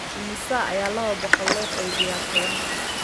Imisa ayaa laba boqol loo qaybiyaa toban?